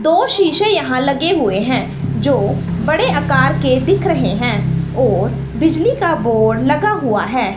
दो शीशे यहां लगे हुए हैं जो बड़े आकार के दिख रहे हैं और बिजली का बोर्ड लगा हुआ है।